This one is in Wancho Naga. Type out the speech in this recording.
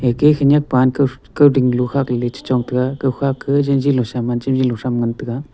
ge khenyak pan kowding kalo khakley le chechong tega kukha ke jenjilo saman jenjilo thram ngan taiga.